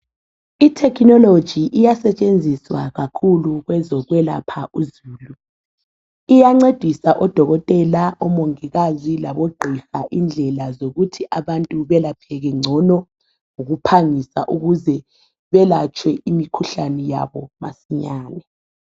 Ithekhinoloji iyasetshenziswa kakhulu kwezokwelapha uzulu iyancedisa odokotela omongikazi labogqiha indlela zokuthi abantu belapheke ngcono ngokuphangisa ukuze imikhuhlane yabo yelapheke masinyane